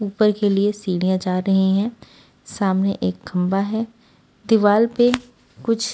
ऊपर के लिए सीढ़ियां जा रही हैं सामने एक खंभा है दीवाल पे कुछ--